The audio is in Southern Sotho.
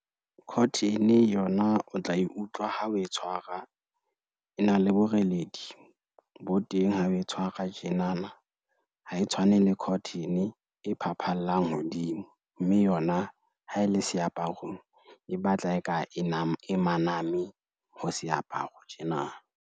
Cotton yona o tla e utlwa ha oe tshwara e na le boreledi, bo teng ha o e tshwara tjenana ha e tshwane le cotton e phaphallang hodimo, mme yona ha e le seaparong, e batla e ka e maname ho seaparo tjena.